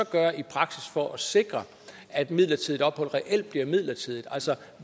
gøre i praksis for at sikre at et midlertidigt ophold reelt også bliver midlertidigt